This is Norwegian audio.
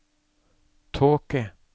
tåke